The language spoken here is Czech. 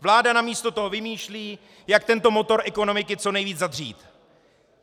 Vláda namísto toho vymýšlí, jak tento motor ekonomiky co nejvíc zadřít.